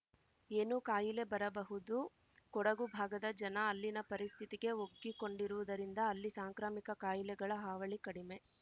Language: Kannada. ಏನು ಕಾಯಿಲೆ ಬರಬಹುದು ಕೊಡಗು ಭಾಗದ ಜನ ಅಲ್ಲಿನ ಪರಿಸ್ಥಿತಿಗೆ ಒಗ್ಗಿಕೊಂಡಿರುವುದರಿಂದ ಅಲ್ಲಿ ಸಾಂಕ್ರಾಮಿಕ ಕಾಯಿಲೆಗಳ ಹಾವಳಿ ಕಡಿಮೆ